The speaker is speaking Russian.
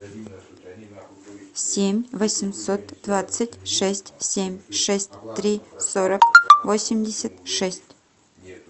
семь восемьсот двадцать шесть семь шесть три сорок восемьдесят шесть